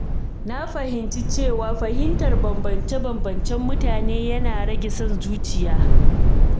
Na fahimci cewa fahimtar bambance-bambancen mutane yana rage son zuciya.